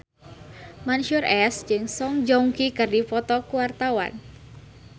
Mansyur S jeung Song Joong Ki keur dipoto ku wartawan